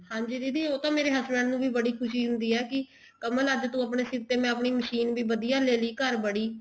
ਹਾਂਜੀ ਦੀਦੀ ਉਹ ਤਾਂ ਮੇਰੇ husband ਨੂੰ ਵੀ ਬੜੀ ਖੁਸ਼ੀ ਹੁੰਦੀ ਆ ਕਮਲ ਅੱਜ ਤੂੰ ਆਪਣੇ ਸਿਰ ਤੇ ਮੈਂ ਮਸ਼ੀਨ ਵੀ ਵਧੀਆ ਲੇਲੀ ਘਰ ਬੜੀ